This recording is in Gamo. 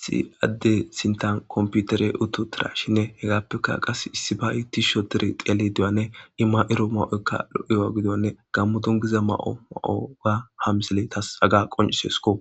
siadde sintan komputere utu utidashinne hegaappeka qas issi ba7i tishotere qeele duyanne imma7iro ma7oykka lo7iyowa gidonne gammo dongiza ma7o ma7oga ha misile tas aga qoncisesko